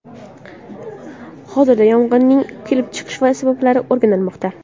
Hozirda yong‘inning kelib chiqish sabablari o‘rganilmoqda.